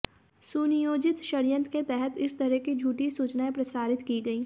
सुनियोजित षड्यंत्र के तहत इस तरह की झूठी सूचनाएं प्रसारित की गईं